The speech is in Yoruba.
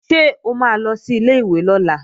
Ṣé o máa lọ sí ilé-ìwé lọ́la?